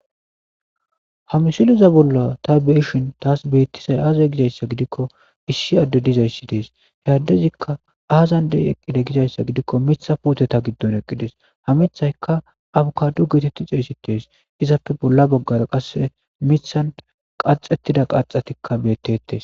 Hamisiliza bolla ta beishin taas beettisay aazay gizayssa gidikko issi adde dizayssi dees hey addezikka aazandey eqqide gizayssa gidikko mitha puoteta giddon eqqides hamithayka abukadu geetetti xeesi tees izapfe bolla baggara qasse mithan qaxettida qaxetikka beettettes